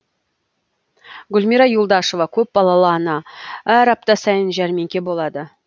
гүлмира юлдашева көпбалалы ана әр апта сайын жәрмеңке болады